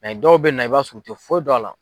dɔw bɛ na i b'a sɔrɔ u tɛ foyi dɔn a la.